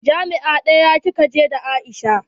Jami'a ɗaya kika je da Aisha?